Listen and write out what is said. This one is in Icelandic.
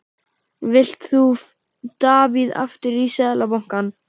Vilt þú Davíð aftur í Seðlabankann?